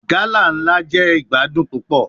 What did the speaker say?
Gala nla jẹ igbadun pupọ